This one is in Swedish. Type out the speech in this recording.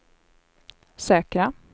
säkra